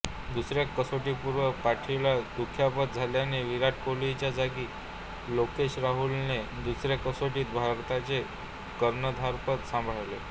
दुसऱ्या कसोटीपूर्वी पाठीला दुखापत झाल्याने विराट कोहलीच्या जागी लोकेश राहुलने दुसऱ्या कसोटीत भारताचे कर्णधारपद सांभाळले